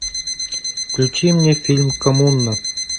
включи мне фильм коммуна